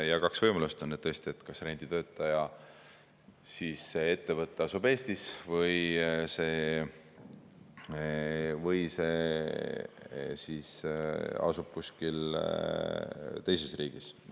Ja kaks võimalust on tõesti: kas renditöötaja ettevõte asub Eestis või see asub kuskil teises riigis.